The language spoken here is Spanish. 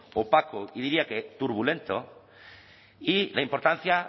opaco y diría que turbulento y la importancia